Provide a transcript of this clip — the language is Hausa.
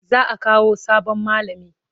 Za a Kawo sabon malami.